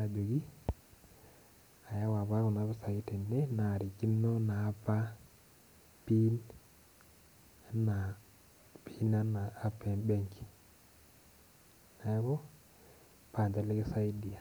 ajoki ayawa apa kunapisai tembenki narikino apa pin enaa app embenki neaku pa ninche likisaidia.